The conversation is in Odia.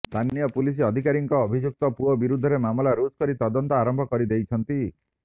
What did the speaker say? ସ୍ଥାନୀୟ ପୁଲିସ ଅଧିକାରୀଙ୍କ ଅଭିଯୁକ୍ତ ପୁଅ ବିରୋଧରେ ମାମଲା ରୁଜୁ କରି ତଦନ୍ତ ଆରମ୍ଭ କରି ଦେଇଛନ୍ତି